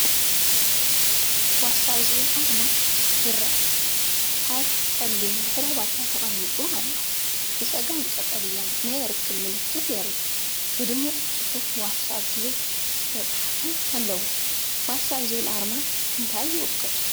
'ዋትስኣፕ' ዝብል ኣርማ ይርአ። ኣብ ጸሊም ድሕረ ባይታ ተቐሚጡ ኣሎ። ብጸጋም ቀጠልያ ናይ ርክብ ምልክት የርኢ። ብድሙቕ ጽሑፍ 'ዋትስኣፕ' ዝብል ዝተፃሕፈ ኣለዎ። 'ዋትስኣፕ' ዝብል ኣርማ እንታይ ይውክል?